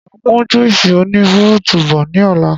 Máa mu Juísì oní fúrútù bọ̀ ni ọ̀la